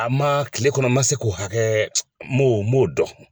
A man kile kɔnɔ n man se k'o hakɛ n m'o n m'o dɔn.